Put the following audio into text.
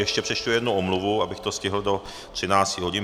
Ještě přečtu jednu omluvu, abych to stihl do 13 hodin.